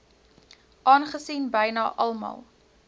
aangesien byna almal